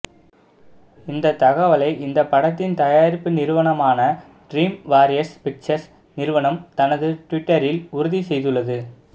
இந்த தகவலை இந்த படத்தின் தயாரிப்பு நிறுவனமான ட்ரீம் வாரியர்ஸ் பிக்சர்ஸ் நிறுவனம் தனது டுவிட்டரில் உறுதி செய்துள்ளது